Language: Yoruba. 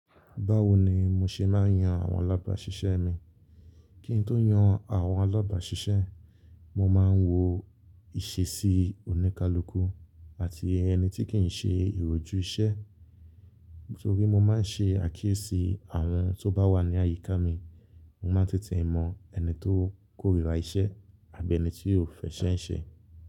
Báwo ni mo ṣe máa ń yan àwọn alábàáṣiṣẹ́ mi? Kí n tó yan àwọn alábàáṣiṣẹ́, mo máa ń wo ìṣesí oníkálukú àti ẹni tí kì í ṣe ìròju iṣẹ́. Nítorí mo máa ń ṣe àkíyèsí àwọn tó bá wà ní àyíká mi, mo máa ń tètè mọ ẹni tó kórìíra iṣẹ́ àbí ẹni tí ó fẹṣẹ ń ṣe.